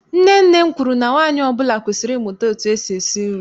Nne nne m kwuru na nwaanyị ọbụla kwesiri ịmụta etu esi esi nri.